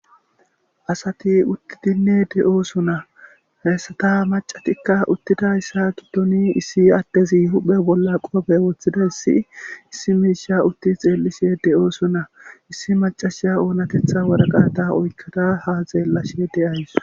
asati uttidinne de'osona he asata macatikka uttidayssa giddoni issi addezi huphe bolla qoobe wooththida issi issi miisha utti xeellishe de'osona issi macasha oonatetha waraqata oykkada ha xeellashe de'ays